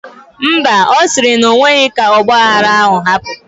Mba, osiri na onwero ka ogba aghara ahu hapu